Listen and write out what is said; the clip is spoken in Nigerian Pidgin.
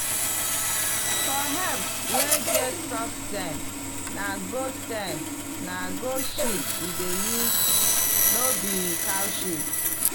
for herbs wey get soft stem na goat stem na goat shit we dey use no be cow shit.